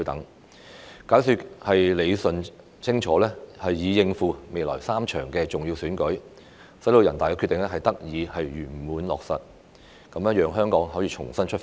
要解說理順清楚，以應付未來3場重要選舉，使人大的《決定》得以圓滿落實，讓香港可以重新出發。